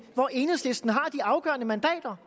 hvor enhedslisten har de afgørende mandater